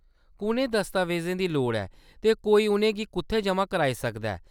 कुʼनें दस्तावेजें दी लोड़ ऐ ते कोई उʼनें गी कुʼत्थै जमा कराई सकदा ऐ ?